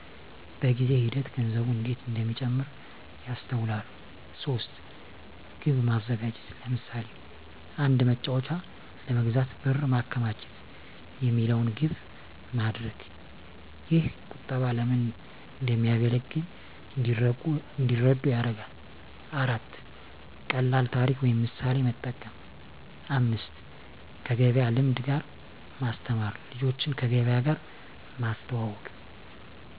በጊዜ ሂደት ገንዘቡ እንዴት እንደሚጨምር ያስተውላሉ። 3. ግብ ማዘጋጀት ለምሳሌ፣ “አንድ መጫወቻ ለመግዛት ብር ማከማቸት” የሚለውን ግብ ማድረግ። ይህ ቁጠባ ለምን እንደሚያገለግል እንዲረዱ ይረዳል። 4. ቀላል ታሪክ ወይም ምሳሌ መጠቀም 5. ከገበያ ልምድ ጋር ማስተማር ልጆችን ከገበያ ጋር ማስተዋወቅ።